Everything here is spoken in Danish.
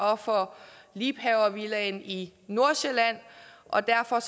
og for liebhavervillaen i nordsjælland og derfor